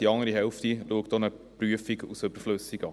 Die andere Hälfte erachtet auch eine Prüfung als überflüssig.